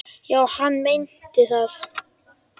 Já, hann meinti það.